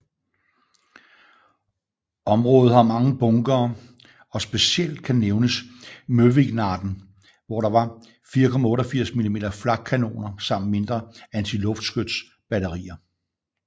Området har mange bunkere og specielt kan nævnes Møvikknatten hvor der var 4 88mm flakkanoner samt mindre antiluftskyts batterier